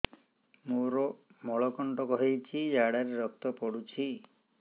ମୋରୋ ମଳକଣ୍ଟକ ହେଇଚି ଝାଡ଼ାରେ ରକ୍ତ ପଡୁଛି